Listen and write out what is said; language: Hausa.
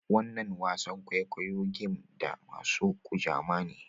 Wanan wasan kwaikwayo game da masun Kujama ne.